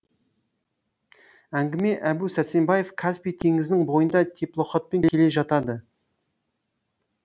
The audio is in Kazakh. әңгіме әбу сәрсенбаев каспий теңізінің бойында теплоходпен келе жатады